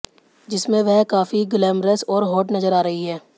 जिसमें वह काफी ग्लैमरस और हॉट नजर आ रही हैं